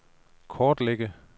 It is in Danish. kortlægge